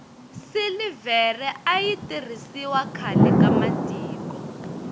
silivhere ayi tirhisiwa khlae ka matiko